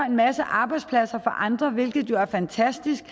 en masse arbejdspladser for andre hvilket jo er fantastisk